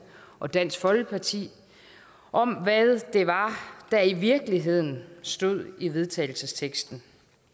og dansk folkeparti om hvad det var der i virkeligheden stod i vedtagelsesteksten